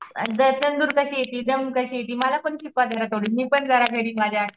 मला पण शिकवा थोडी मी पण जरा घरी माझ्या